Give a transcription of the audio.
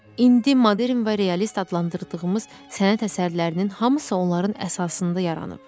İndi modern və realist adlandırdığımız sənət əsərlərinin hamısı onların əsasında yaranıb.